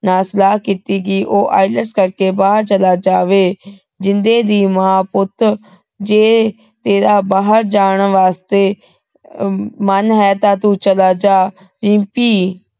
ਨਾਲ ਸਲਾਹ ਕੀਤੀ ਕੀ ਉਹ ILETS ਕਰਕੇ ਬਾਹਰ ਚਲਾ ਜਾਵੇ ਜਿੰਦੇ ਦੀ ਮਾਂ ਪੁੱਤ ਜੇ ਤੇਰਾ ਬਾਹਰ ਜਾਣ ਵਾਸਤੇ ਮਨ ਹੈ ਤਾਂ ਤੂੰ ਚਲਾ ਜਾ ਰਿੰਪੀ